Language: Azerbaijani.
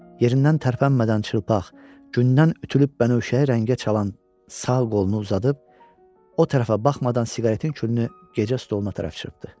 Yerindən tərpənmədən çılpaq, gündən ütülüb bənövşəyi rəngə çalan sağ qolunu uzadıb, o tərəfə baxmadan siqaretin külünü gecə stoluna çırpdı.